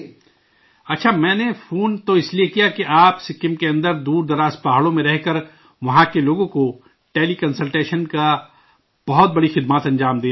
اچھا، میں نے فون تو اس لیے کیا کہ آپ سکم کے اندر دور افتادہ پہاڑوں میں رہ کر وہاں کے لوگوں کو ٹیلی کنسلٹیشن کی بہت بڑی خدمات دے رہے ہیں